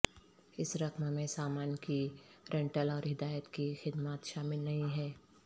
اس رقم میں سامان کی رینٹل اور ہدایات کی خدمات شامل نہیں ہے